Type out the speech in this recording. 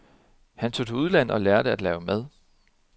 Han tog til udlandet og lærte at lave mad.